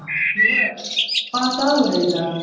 Júrek, hvaða dagur er í dag?